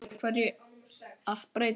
Af hverju að breyta?